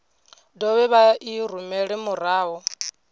dovhe vha i rumele murahu